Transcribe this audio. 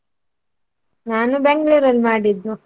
ನಾನು Bangalore ಅಲ್ ಮಾಡಿದ್ದು.